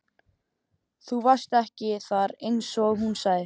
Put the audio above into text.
Þú varst ekki þar einsog hún sagði.